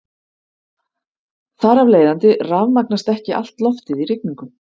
Þar af leiðandi rafmagnast ekki allt loftið í rigningu.